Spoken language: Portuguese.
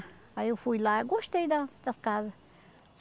Aí eu fui lá, eu gostei da das casas.